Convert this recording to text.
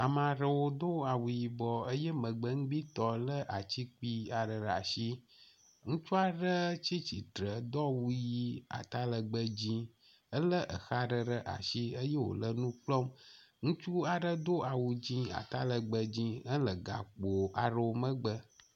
Ame aɖewo do awu yibɔ eye megbenugbitɔ lé atsi kpui aɖe ɖe asi. Ŋutsu aɖe tsi tsitre do awu ʋi, atalegbe dzĩ. Elé exa aɖe ɖe asi eye wòle nu kplɔm. Ŋutsu aɖe do awu dzĩ, atalegbe dzĩ hele gakpo aɖewo megbe.